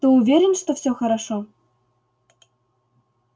ты уверен что всё хорошо